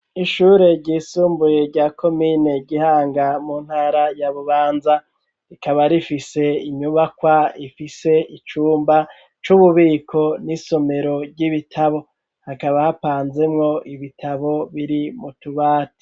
Ishure ryisumbuye rya komine Gihanga mu ntara ya bubanza rikaba rifise inyubakwa ifise icumba c'ububiko n'isomero ry'ibitabo hakaba hapanzemwo ibitabo biri mu tubati.